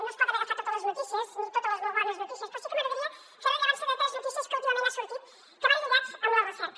no es poden agafar totes les notícies ni totes les molt bones notícies però sí que m’agradaria fer rellevància de tres notícies que últimament han sortit que van lligades amb la recerca